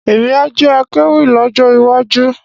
Emi a jẹ akéwì lọ́jọ́ wá ju